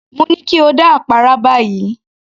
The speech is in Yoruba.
Mo ní kí o dá àpárá báyìí